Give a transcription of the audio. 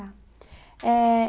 tá. Eh...